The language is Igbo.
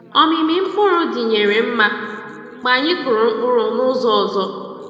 Omimi mkpụrụ dinyere nma mgbe anyị kụrụ mkpụrụ n'ụzọ ọzọ.